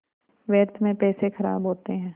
व्यर्थ में पैसे ख़राब होते हैं